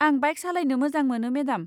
आं बाइक सालायनो मोजां मोनो मेडाम।